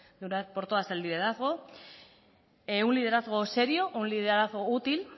de una vez por todas el liderazgo un liderazgo serio un liderazgo útil